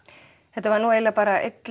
þetta var nú eiginlega bara einn